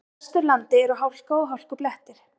Á Vesturlandi eru hálka og hálkublettir